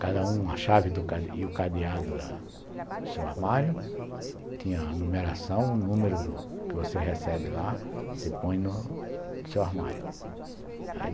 Cada um a chave e o cadeado do seu armário, tinha a numeração, o número do que você recebe lá, você põe no seu armário.